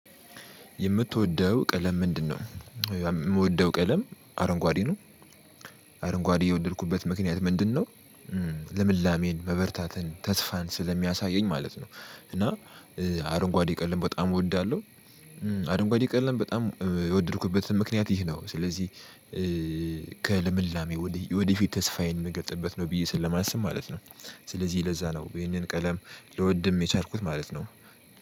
የምትወደው ቀለም ምንድነው? የምወደው ቀለም አረንጓዴ ነው። አረንጓዴ የወደድኩበት ምክንያት ምንድነው? ልምላሜን መበርታትን ተስፋን ስለሚያሳየኝ ማለት ነው። እና አረንጓዴ ቀለም በጣም እወዳለሁ። አረንጓዴ ቀለም በጣም የወደድኩበትም ምክንያት ይህ ነው። ስለዚህ ከልምላሜ ወደፊት ተስፋዬን የምገልጥምበት ነው ብዬ ስለማስብ ማለት ነው። ስለዚህ ለዛ ነው ይህንን ቀለም ልወድም የቻልኩት ማለት ነው።